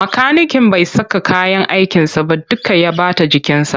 Makaniken bai saka kayyan aikinsa ba duka ya ɓata jikinsa.